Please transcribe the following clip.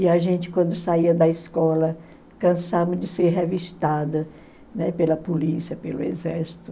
E a gente, quando saía da escola, cansava de ser revistada, né, pela polícia, pelo exército.